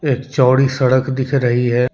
एक चौड़ी सड़क दिख रही है।